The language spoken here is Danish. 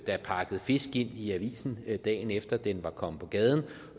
der pakket fisk ind i avisen dagen efter den var kommet på gaden